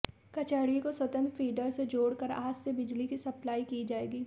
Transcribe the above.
कचहरी को स्वतंत्र फीडर से जोड़कर आज से बिजली की सप्लाई की जाएगी